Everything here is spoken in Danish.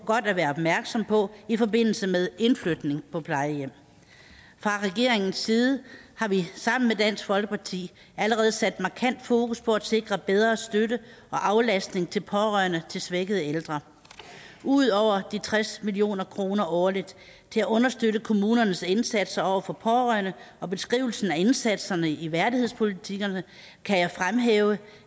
godt at være opmærksom på i forbindelse med indflytning på plejehjem fra regeringens side har vi sammen med dansk folkeparti allerede sat markant fokus på at sikre bedre støtte og aflastning til pårørende til svækkede ældre ud over de tres million kroner årligt til at understøtte kommunernes indsatser over for pårørende og beskrivelsen af indsatserne i værdighedspolitikkerne kan jeg fremhæve